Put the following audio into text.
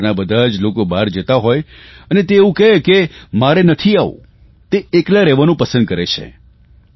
ઘરના બધા જ લોકો બહાર જતાં હોય અને તે એવું કહે કે મારે નથી આવવું અને તે એકલા રહેવાનું પસંદ કરે છે